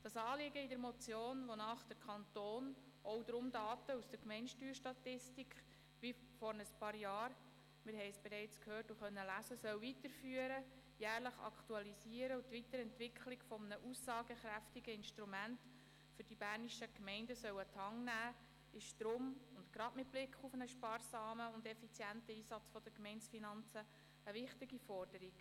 Deshalb und gerade mit Blick auf den sparsamen und effizienten Einsatz der Gemeindefinanzen, ist das Anliegen der Motion eine wichtige Forderung, wonach der Kanton Daten aus der Gemeindesteuerstatistik wie vor ein paar Jahren weiterführen und jährlich aktualisieren soll sowie die Entwicklung eines aussagekräftigen Instruments für die bernischen Gemeinden an die Hand nehmen soll – wir haben es gehört und konnten es auch lesen.